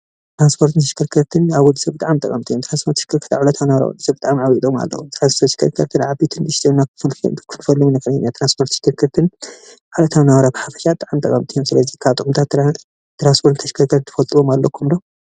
ትራንስፖርትን ተሽከርከርትን ኣብ ወዲ ሰባት ብጣዕሚ ጠቀምቲን እዩም። ትራንስፖርትን ተሽከርከርትን ኣብ ዕለታዊ መናባብሮኦም ብጣዕሚ ጥቅሚ ኣለዎም። ትራንስፖርትን ተሽከርከርትን ዓበየትን ንእሽተይን ክኸውን ከለዉ ትራንስፖርትን ተሽከርከርትን ኣብ ዕለታዊ መናባብሮ ብሓፈሻ ብጣዕሚ ጠቀምቲ እዮም ። ካብ ጥቅምታት ትራንስፖርትን ተሽከርከርትን ትፈልጥዎ ኣለኩም ዶ ?